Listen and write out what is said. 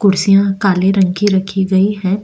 कुर्सियां काले रंग की रखी गई हैं।